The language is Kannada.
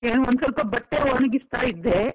ಈಗ ಒಂದ್ ಸ್ವಲ್ಪ ಬಟ್ಟೆ ಒಣಗಿಸ್ತಾ ಇದ್ದೆ.